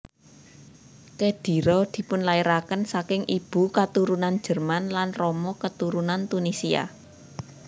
Khedira dipunlairaken saking ibu katurunan Jerman lan rama keturunan Tunisia